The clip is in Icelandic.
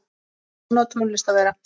Svona á tónlist að vera.